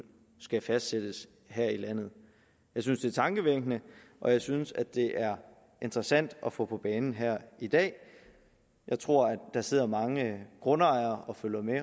skal fastsættes her i landet jeg synes det er tankevækkende og jeg synes at det er interessant at få det på banen her i dag jeg tror at der sidder mange grundejere og følger med